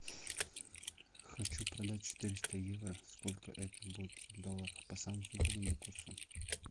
хочу продать четыреста евро сколько это будет в долларах по самому выгодному курсу